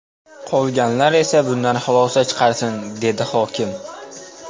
Qolganlar esa bundan xulosa chiqarsin”, dedi hokim.